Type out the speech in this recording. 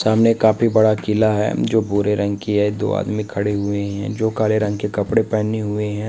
सामने एक काफी बड़ा किला है जो भूरे रंग की है दो आदमी खड़े हुए हैं जो काले रंग के कपड़े पहने हुए हैं।